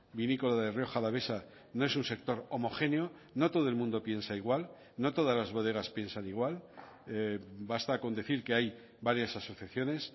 vinícola de rioja alavesa no es un sector homogéneo no todo el mundo piensa igual no todas las bodegas piensan igual basta con decir que hay varias asociaciones